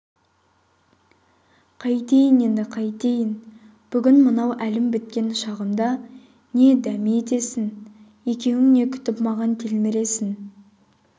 қайтейін енді қайтейін бүгін мынау әлім біткен шағымда не дәме етесің екеуің не күтіп маған телміресің